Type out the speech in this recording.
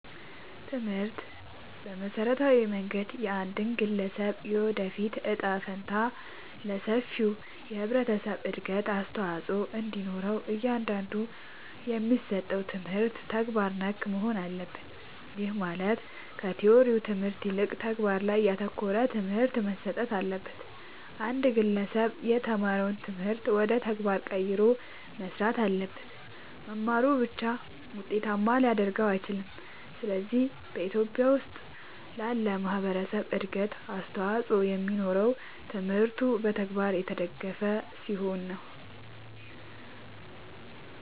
ትምህርት በመሠረታዊ መንገድ የአንድን ግለሠብ የወደፊት እጣ ፈንታ እና ለሠፊው የህብረተሠብ እድገት አስተዋፅኦ እንዲኖረው እያንዳንዱ የሚሠጠው ትምህርት ተግባር ነክ መሆን አለበት። ይህም ማለት ከቲወሪው ትምህርት ይልቅ ተግባር ላይ ያተኮረ ትምህርት መሠጠት አለበት። አንድ ግለሠብ የተማረውን ትምህርት ወደ ተግባር ቀይሮ መሥራት አለበት። መማሩ ብቻ ውጤታማ ሊያደርገው አይችልም። ስለዚህ በኢትዮጲያ ውስጥ ላለ ማህበረሠብ እድገት አስተዋፅኦ የሚኖረው ትምህርቱ በተግባር የተደገፈ ሲሆን ነው።